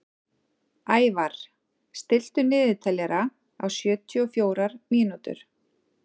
Ævarr, stilltu niðurteljara á sjötíu og fjórar mínútur.